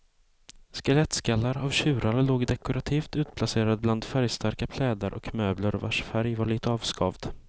Skelettskallar av tjurar låg dekorativt utplacerade bland färgstarka plädar och möbler vars färg var lite avskavd.